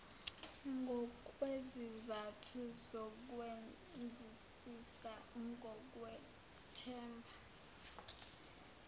ngokwezizathu zokwenzisisa ngokwethemba